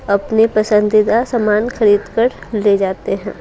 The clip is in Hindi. अपने पसंदीदा सामान खरीद कर ले जाते हैं।